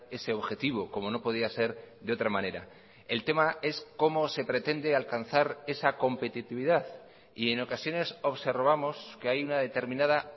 ese objetivo como no podía ser de otra manera el tema es cómo se pretende alcanzar esa competitividad y en ocasiones observamos que hay una determinada